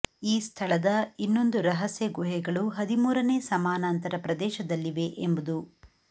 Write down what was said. ಈ ಸ್ಥಳದ ಇನ್ನೊಂದು ರಹಸ್ಯ ಗುಹೆಗಳು ಹದಿಮೂರನೇ ಸಮಾನಾಂತರ ಪ್ರದೇಶದಲ್ಲಿವೆ ಎಂಬುದು